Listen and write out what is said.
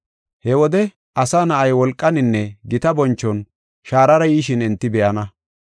He wode Asa Na7ay wolqaninne gita bonchuwan shaarara yishin enti be7ana.